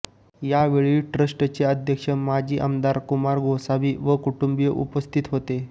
या वेळी ट्रस्टचे अध्यक्ष माजी आमदार कुमार गोसावी व कुटुंबीय उपस्थित होते